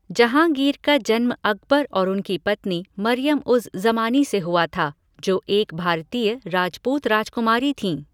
जहाँगीर का जन्म अकबर और उनकी पत्नी मरियम उज़ ज़मानी से हुआ था, जो एक भारतीय राजपूत राजकुमारी थीं।